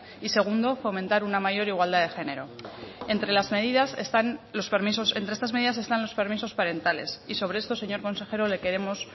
y segundo fomentar una mayor igualdad de género entre estas medidas están los permisos parentales y sobre esto señor consejero le queremos